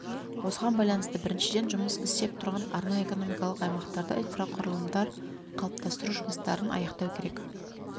осыған байланысты біріншіден жұмыс істеп тұрған арнайы экономикалық аймақтарда инфрақұрылымдар қалыптастыру жұмыстарын аяқтау керек